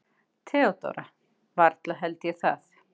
THEODÓRA: Varla held ég það.